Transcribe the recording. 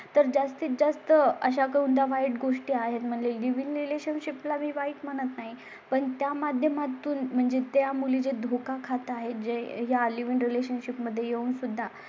तर जास्तीतजास्त अशा गोंधळा वाईट गोष्टी आहेत म्हणजे लिव्ह इन रिलेशनशिप लावी वाइफ म्हणत नाही. पण त्या माध्यमातून म्हणजे त्या मुली चें धोका खात आहेत. जे या लिव्ह इन रिलेशनशिपमध्ये येऊन सुद्धा